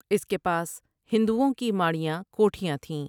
اس کے پاس ہندوٶں کی ماڑیاں کوٹھیاں تھیں ۔